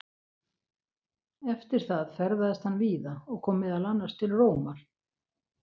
Eftir það ferðaðist hann víða og kom meðal annars til Rómar.